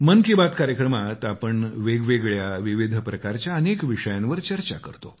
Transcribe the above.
मन की बात कार्यक्रमात आपण वेगवेगळ्या विविध प्रकारच्या अनेक विषयांवर चर्चा करतो